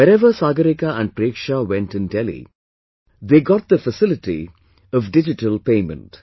Wherever Sagarika and Preksha went in Delhi, they got the facility of digital payment